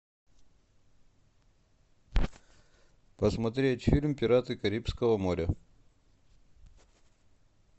посмотреть фильм пираты карибского моря